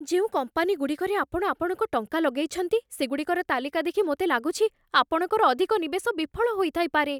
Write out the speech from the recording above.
ଯେଉଁ କମ୍ପାନୀଗୁଡ଼ିକରେ ଆପଣ ଆପଣଙ୍କ ଟଙ୍କା ଲଗେଇଛନ୍ତି, ସେଗୁଡ଼ିକର ତାଲିକାଦେଖି ମୋତେ ଲାଗୁଛି, ଆପଣଙ୍କର ଅଧିକ ନିବେଶ ବିଫଳ ହୋଇଥାଇପାରେ।